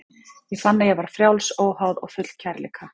Ég fann að ég var frjáls, óháð og full af kærleika.